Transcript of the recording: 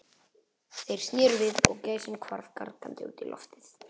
Þeir sneru við og gæsin hvarf gargandi út í loftið.